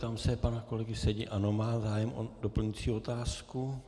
Ptám se pana kolegy Sedi - ano má zájem o doplňující otázku.